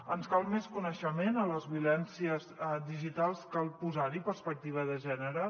ens cal més coneixement de les violències digitals cal posar hi perspectiva de gènere